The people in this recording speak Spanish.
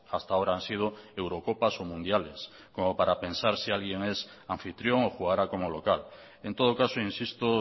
hasta ahora han sido eurocopas o mundiales como para pensar si alguien es anfitrión o jugará como local en todo caso insisto